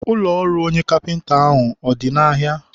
ụlọ ọrụ onye kapịnta ahụ ọ dị n'ahịa?